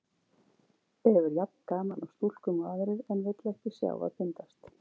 Hefur jafn gaman af stúlkum og aðrir, en vill ekki sjá að bindast.